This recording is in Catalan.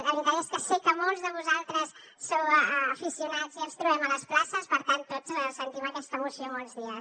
la veritat és que sé que molts de vosaltres sou aficionats i ens trobem a les places per tant tots sentim aquesta emoció molts dies